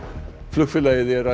flugfélagið